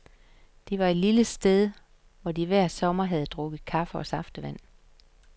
Der var et lille sted, hvor de hver sommer havde drukket kaffe og saftevand.